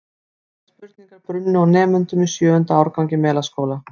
Ótal spurningar brunnu á nemendum í sjöunda árgangi Melaskóla.